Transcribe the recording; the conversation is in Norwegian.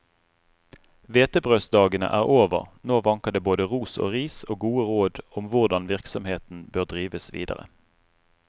Hvetebrødsdagene er over, nå vanker det både ros og ris og gode råd om hvordan virksomheten bør drives videre.